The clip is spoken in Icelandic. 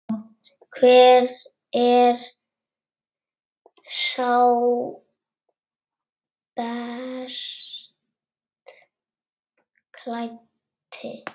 Hver er sá best klæddi?